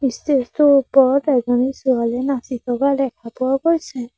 Stage টোৰ ওপৰত এজনী ছোৱালী নাচি থকা দেখা পোৱা গৈছে।